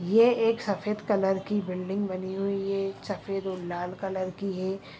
ये एक सफ़ेद कलर कि बुल्ल्डिंग बनी हुई है सफ़ेद और लाल कलर कि है